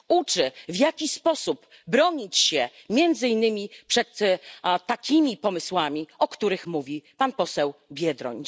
Uczy, w jaki sposób bronić się między innymi przed takimi pomysłami, o których mówi pan poseł Biedroń.